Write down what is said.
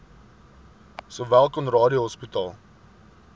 sowel conradie hospitaal